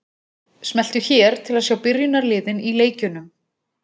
Smelltu hér til að sjá byrjunarliðin í leikjunum.